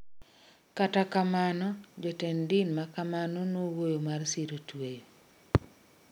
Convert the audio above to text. Kata kamano jotend din makamano nowuoyo mar siro tweyo